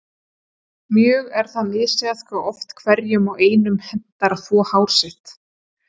Mjög er það misjafnt hve oft hverjum og einum hentar að þvo hár sitt.